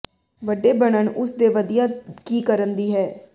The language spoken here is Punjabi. ਵੱਡੇ ਬਣਨ ਉਸ ਦੇ ਵਧੀਆ ਕੀ ਕਰਨ ਦੀ ਹੈ